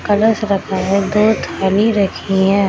कलश रखा है दो थाली रखी है।